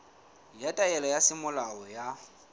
ya taelo ya semolao ya